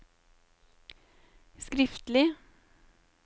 skriftlig